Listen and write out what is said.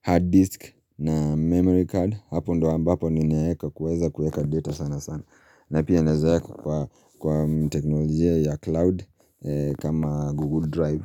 hard disk na memory card hapo ndo ambapo ndo ambapo ninaweza kuweka data sana sana, na pia ninaweza weka kwa teknolojia ya cloud kama google drive.